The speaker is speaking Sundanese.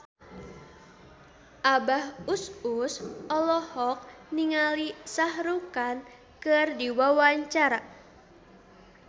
Abah Us Us olohok ningali Shah Rukh Khan keur diwawancara